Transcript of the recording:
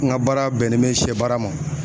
N ka baara bɛnnen bɛ sɛbaara ma.